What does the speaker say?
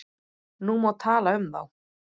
Nú má tala um þá.